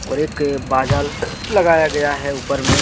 और एक बाजाल लगाया गया हैं ऊपर में।